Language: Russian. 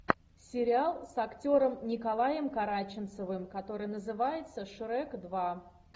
сериал с актером николаем караченцовым который называется шрек два